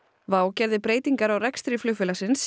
WOW gerði breytingar á rekstri flugfélagsins